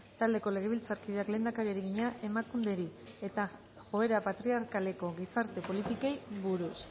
taldeko legebiltzarkideak lehendakariari egina emakunderi eta joera patriarkaleko gizarte politikei buruz